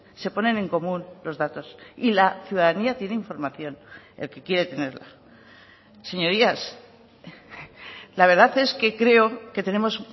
se ponen en común los datos y la ciudadanía tiene información el que quiere tenerla señorías la verdad es que creo que tenemos